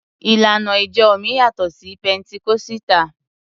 Ìlànà ìjọ mi yàtọ̀ sí Pẹntikọ́sítà.